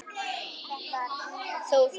Þó það.